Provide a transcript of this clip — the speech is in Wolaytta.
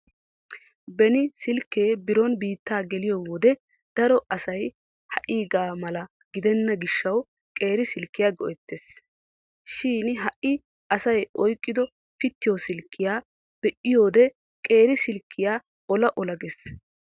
Beni silkkee biron biittaa gelyo wode daro asay ha"iigaa mala gidenna gishshawu qeeri silkkiya go'ettees. Shin ha"i asay oyqqido pittiyo silkkiya be'iyode qeeri silkkiya ola ola giissees.